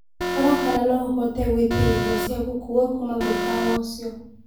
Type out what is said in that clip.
Rora kana no ũhote gũĩtĩaĩrĩo cĩa gũkũwa kũma mũkawa ũcĩo